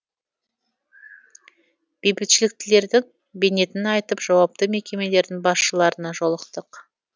бейбітшіліктілердің бейнетін айтып жауапты мекемелердің басшыларына жолықтық